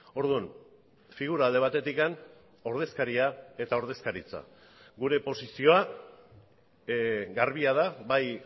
orduan figura alde batetik ordezkaria eta ordezkaritza gure posizioa garbia da bai